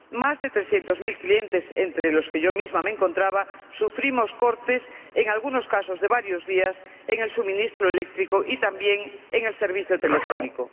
Más de trescientos mil clientes, entre los que yo misma me encontraba, sufrimos cortes, en algunos casos de varios días, en el suministro eléctrico y también en el servicio telefónico.